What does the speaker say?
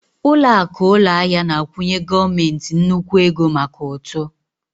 Ụlọakụ ụlọahịa na-akwụnye gọọmentị nnukwu ego maka ụtụ